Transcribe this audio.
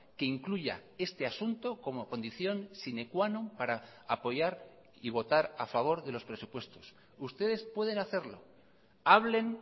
que incluya este asunto como condición sine qua non para apoyar y votar a favor de los presupuestos ustedes pueden hacerlo hablen